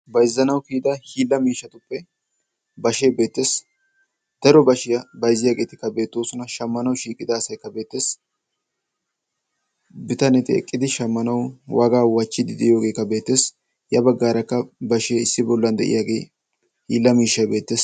baizzanaw kiyida hiilla miishshatuppe bashee beettes. daro bashiyaa baizziyaageetikka beettoosona. shaammanaw shiiqida asaykka beettees. bitaneti eqqidi shaammanaw wagaa wachchidi diiyoogeekka beettees. ya baggaarakka bashee issi bollan de7iyaagee hiilla miishshay beettes.